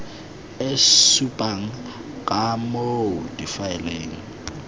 e supang ka moo difaele